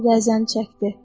Rəzəni çəkdi.